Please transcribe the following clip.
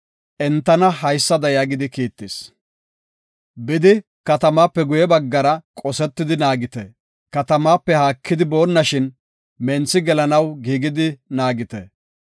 entana haysada yaagidi kiittis; “Bidi katamaape guye baggara qosetidi naagite. Katamaape haakidi boonnashin, menthi gelanaw giigidi naagite.